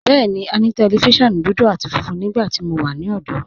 Bẹẹni, à ní tẹlifíṣiọ̀nù dúdú àti fúnfún nígbàtí mó wà ní ọ̀dọ̀.